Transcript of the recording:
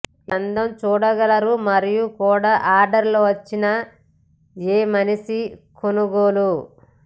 ఈ అందం చూడగలరు మరియు కూడా అడ్లెర్ వచ్చిన ఏ మనిషి కొనుగోలు